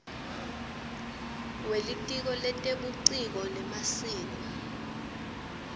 welitiko letebuciko nemasiko